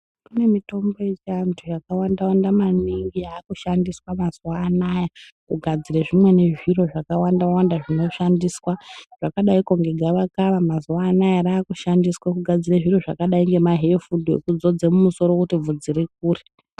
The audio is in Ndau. Kunemitombo yechantu yakawanda wanda maningi, yakushandiswa mazuwanaya, kugadzire zvimweni zviro zvakawanda wanda zvinoshandiswa, zvakadayi kunge gavakava. Mazuwanaya rakushandiswe kugadzira zviro zvakadayi ngema hefudu ekuzodzwa mumusoro kuti vhudzi rikure.